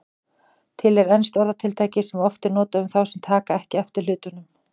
Til er enskt orðatiltæki sem oft er notað um þá sem taka ekki eftir hlutunum.